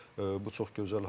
Bu çox gözəl haldır.